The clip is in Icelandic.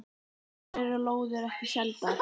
Hér eru lóðir ekki seldar.